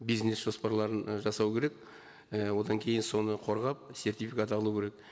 бизнес жоспарларын і жасау керек і одан кейін соны қорғап сертификат алу керек